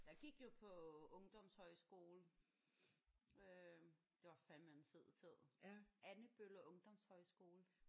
Jeg gik jo på ungdomshøjskole. Øh det var fandeme en fed tid. Andebølle Ungdomshøjskole